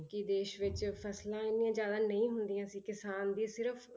ਕਿ ਦੇਸ ਵਿੱਚ ਫਸਲਾਂ ਇੰਨੀਆਂ ਜ਼ਿਆਦਾ ਨਹੀਂ ਹੁੰਦੀਆਂ ਸੀ ਕਿਸਾਨ ਦੀ ਸਿਰਫ਼